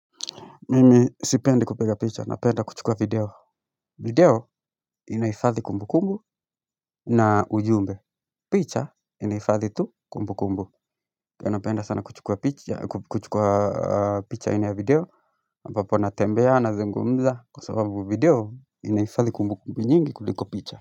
Mimi sipendi kupiga picha, napenda kuchukua video video inahifadhi kumbukumbu na ujumbe picha inahifadhi tu kumbukumbu. Kwahiyo napenda sana kuchukua picha aina ya video ambapo natembea, nazungumza kwasababu video inahifadhi kumbukumbu nyingi kuliko picha.